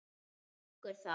Hann þiggur það.